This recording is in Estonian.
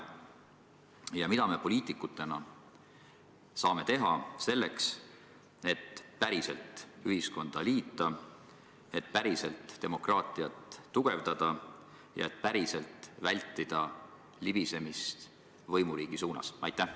Ja mida me poliitikutena saame teha selleks, et päriselt ühiskonda liita, et päriselt demokraatiat tugevdada ja vältida libisemist võimuriigi suunas?